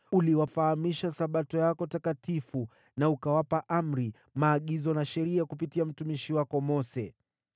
Uliwafahamisha Sabato yako takatifu na ukawapa amri, maagizo na sheria kupitia mtumishi wako Mose.